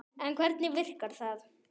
En hvernig virkar það?